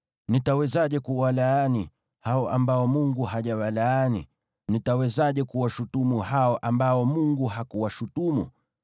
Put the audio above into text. Nitawezaje kuwalaani, hao ambao Mungu hajawalaani? Nitawezaje kuwashutumu hao ambao Bwana hakuwashutumu?